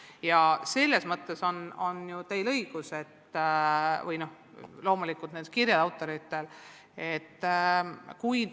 Ja selles mõttes on teil või nendel kirjade autoritel loomulikult õigus.